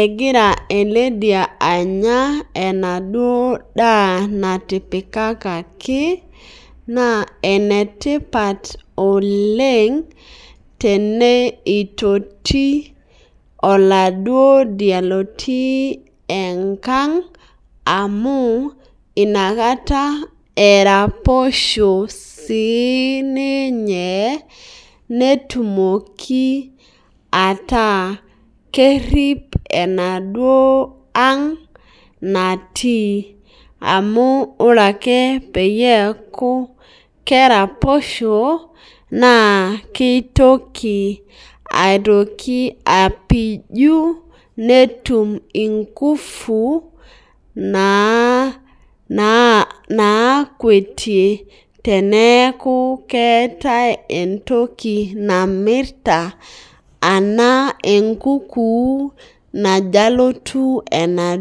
egira eledia anya endladuo daa natipikikaki na enetipat oleng tenitoki oladuo dia otiibenkanga amu inakata eraposho sininye metumoki ataa kerip enaduo aang natii amu ore ale peaku keraposho na kitoki apiju netum inkufu nakwetie teneaku keetae entoki namirta anaa enkuku najo alotu enaduo.